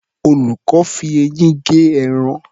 Olùkọ́ fi eyín gé ẹran.